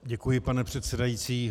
Děkuji, pane předsedající.